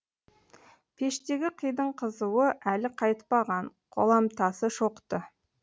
пештегі қидың қызуы әлі қайтпаған қоламтасы шоқты